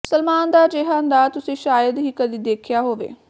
ਸਲਮਾਨ ਦਾ ਅਜਿਹਾ ਅੰਦਾਜ਼ ਤੁਸੀਂ ਸ਼ਾਇਦ ਹੀ ਕਦੀ ਦੇਖਿਆ ਹੋਵੇ